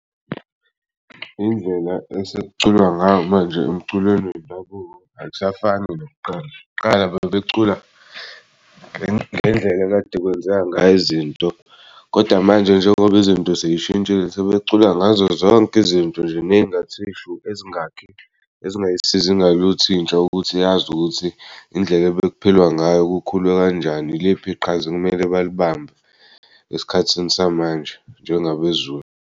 Indlela esekuculwa ngayo manje emculweni wendabuko akusafani nakuqala qala bebecula ngendlela ekade kwenzeka ngayo izinto. Koda manje njengoba izinto seyishintshile sebecula ngazo zonke izinto nje ney'ngathi shu ezingakhi ezingayisizi ngaluth'intsha ukuthi yazi ukuthi indlela ebekuphilwa ngayo kukhulwe kanjani iliphi iqhaza ekumele balibamba esikhathini samanje njengabeZulu.